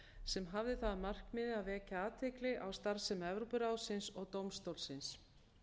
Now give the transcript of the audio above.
sem hafði það að markmiði að vekja athygli á starfsemi evrópuráðsins og dómstólsins